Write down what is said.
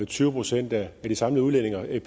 tyve procent af de samlede udledninger er